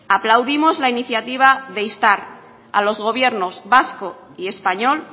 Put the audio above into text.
aplaudimos la iniciativa de instar a los gobiernos vasco y español